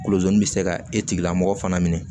Kolozini bɛ se ka e tigilamɔgɔ fana minɛ